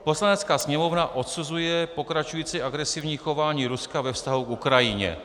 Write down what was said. Poslanecká sněmovna odsuzuje pokračující agresivní chování Ruska ve vztahu k Ukrajině.